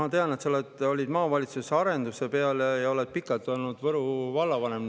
Ma tean, et sa olid maavalitsuses arenduse ja oled pikalt olnud Võru vallavanem.